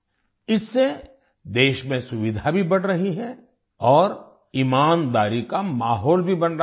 इससे देश में सुविधा भी बढ़ रही है और ईमानदारी का माहौल भी बन रहा है